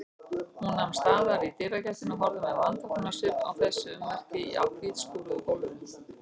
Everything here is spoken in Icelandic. Hún nam staðar í dyragættinni og horfði með vanþóknunarsvip á þessi ummerki á hvítskúruðu gólfinu.